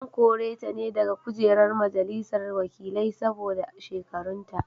An kore ta ne daga kujerar majalisar wakilai saboda shekarunta.